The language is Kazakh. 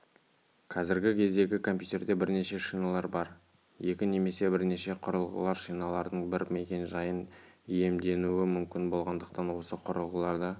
қазіргі кездегі компьютерде бірнеше шиналар бар екі немесе бірнеше құрылғылар шиналардың бір мекен-жайын иемденуі мүмкін болғандықтан осы құрылғыларды